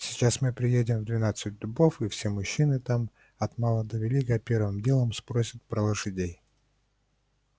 сейчас мы приедем в двенадцать дубов и все мужчины там от мала до велика первым делом спросят про лошадей